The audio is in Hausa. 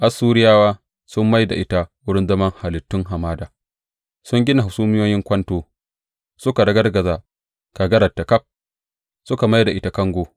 Assuriyawa sun mai da ita wurin zaman halittun hamada; sun gina hasumiyoyin kwanto, suka ragargaza kagararta ƙaf suka mai da ita kango.